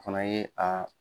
Fana ye a